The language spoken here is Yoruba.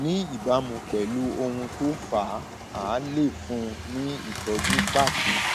ní ìbámu pẹlú ohun tó fà á a lè fún un ní ìtọjú pàtó